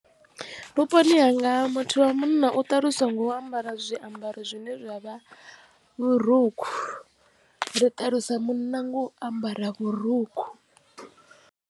Vhuponi hanga muthu wa munna u ṱaluswa nga u ambara zwiambaro zwine zwa vha vhurukhu ri ṱalusa munna nga u ambara vhurukhu.